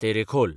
Terekhol